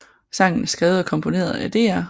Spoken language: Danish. Sangen er skrevet og komponeret af Dr